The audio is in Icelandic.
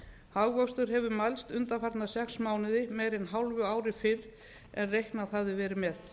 hagvöxtur hefur mælst undanfarna sex mánuði meira en hálfu ári fyrr en reiknað hafði verið með